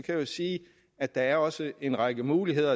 jeg sige at der også er en række muligheder